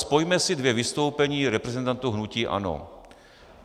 Spojme si dvě vystoupení reprezentantů hnutí ANO.